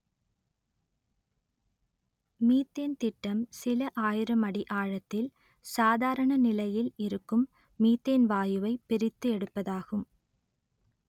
methane திட்டம் சில ஆயிரம் அடி ஆழத்தில் சாதாரண நிலையில் இருக்கும் மீத்தேன் வாயுவை பிரித்து எடுப்பதாகும்